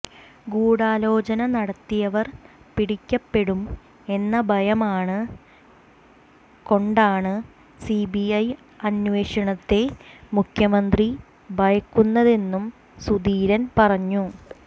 ഗൂഡാലോചന നടത്തിയവർ പിടിക്കപ്പെടും എന്ന ഭയമാണ് കൊണ്ടാണ് സി ബി ഐ അന്വേഷണത്തെ മുഖ്യമന്ത്രി ഭയക്കുന്നതെന്നും സുധീരൻ പറഞ്ഞു